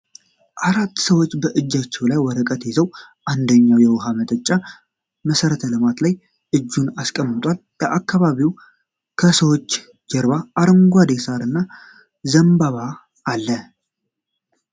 አራት ሰዎች በእጆቻቸው ላይ ወረቀት ይዘው፣ አንደኛው የውሀ ማውጫ(መሠረተ ልማት) ላይ እጁን አስቀምጧል። በአካባቢው ከሠዎች ጀርባ አረንጓዴ ሣር እና ዘንባባ አለ።